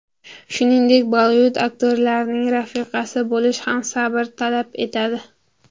Shuningdek, Bollivud aktyorlarining rafiqasi bo‘lish ham sabr talab etadi.